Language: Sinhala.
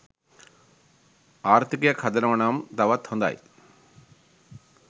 ආර්ථිකයක් හදනව නම් තවත් හොදයි.